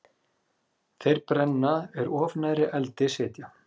Þeir brenna er of nærri eldi sitja.